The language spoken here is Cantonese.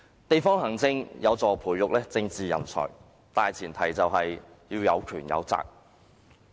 地方行政有助培育政治人才，但前提是要有權有責。